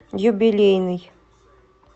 юбилейный